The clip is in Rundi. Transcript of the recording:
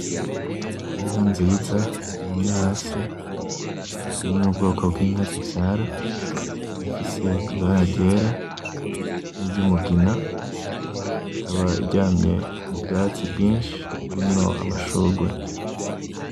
Inka nziza iryamye hasi, iri mubwoko bwinka nzivyara, ikaba ifise ibara ryera, niryumugina, ikaba iryamye mubwatsi bwinshi burimwo amashurwe .